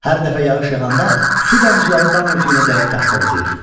Hər dəfə yağış yağıanda su damcıları dam örtüyünə dəyib tappıldayır.